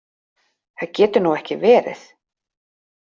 Það getur nú ekki verið!